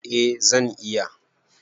Eh zan iya